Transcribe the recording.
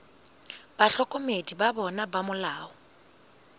bahlokomedi ba bona ba molao